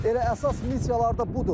Elə əsas missiyaları da budur.